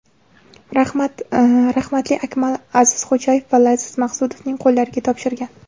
Rahmatli Akmal Azizxo‘jayev va Laziz Maqsudovning qo‘llariga topshirgan.